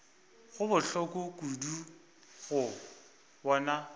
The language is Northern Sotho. go bohloko kudu go bona